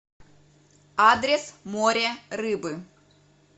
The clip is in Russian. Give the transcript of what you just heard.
адрес море рыбы